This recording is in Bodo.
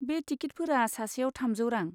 बे टिकिटफोरा सासेयाव थामजौ रां।